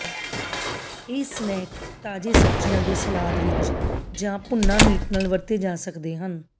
ਇਹ ਸਨੈਕ ਤਾਜ਼ੇ ਸਬਜ਼ੀਆਂ ਦੇ ਸਲਾਦ ਵਿਚ ਜਾਂ ਭੂਨਾ ਮੀਟ ਨਾਲ ਵਰਤੇ ਜਾ ਸਕਦੇ ਹਨ